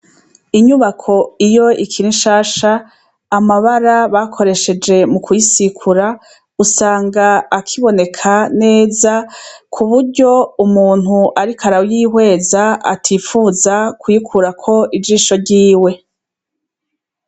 Inyubako iyo ikiri shasha amabara bakoresheje mu kuisikura usanga akiboneka neza ku buryo umuntu, ariko arayoihweza atipfuza kuikurako ijisho ryiwe.